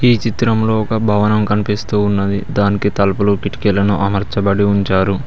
ఈ చిత్రంలో ఒక భవనం కనిపిస్తూ ఉన్నది దానికి తలుపులు కిటికీలను అమర్చబడి ఉంచారు.